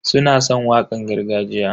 Suna san wakan gargajiya.